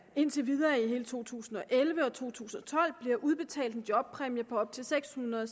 indtil videre i hele to tusind og elleve og to tusind og tolv bliver udbetalt en jobpræmie på op til seks hundrede